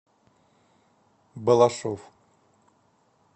балашов